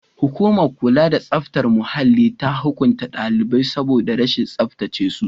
Hukumar kula da tsaftar muhalli ta hukunta daliban saboda rashin tsaftace su.